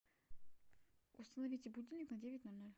установите будильник на девять ноль ноль